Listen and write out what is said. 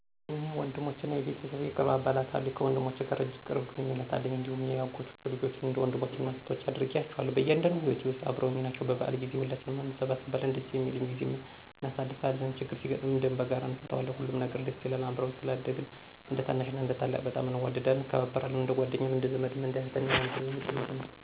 እኔ ወንድሞችና የቤተሰብ ቅርብ አባላት አሉኝ። ከወንድሞቼ ጋር እጅግ ቅርብ ግንኙነት አለኝ፣ እንዲሁም የአጎቶቼ ልጆችን እንደ ወንድሞቼና እኅቶቼ አድርጌ እያቸዋለሁ። በእያንዳንዱ ሂወቴ ውስጥ አበረውኝ ናቸው። በበዓል ጊዜ ሁላችንም እንሰበሰባለን ደስ የሚል ጊዜም እናሳልፋለን። ችግር ሲገጥመን ደም በጋራ እነፈታዋለን፣ ሁሉም ነገር ደስ ይላል። አብረን ስላደግን እንደታናሽና ታላቅ በጣም እንዋደዳለን፣ እንከባበራለን። እንደጓደኛም እንደዘመድም እንደ እህትና ወንድምም ጭምር ነን።